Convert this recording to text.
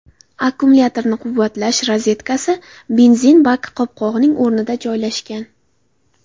Akkumulyatorni quvvatlash rozetkasi benzin baki qopqog‘ining o‘rnida joylashgan.